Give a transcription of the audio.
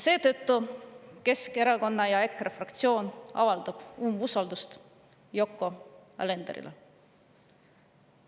Seetõttu Keskerakonna ja EKRE fraktsioon avaldavad umbusaldust Yoko Alenderile.